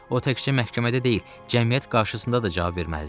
O təkcə məhkəmədə deyil, cəmiyyət qarşısında da cavab verməlidir.